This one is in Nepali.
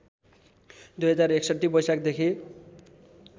२०६१ वैशाखदेखि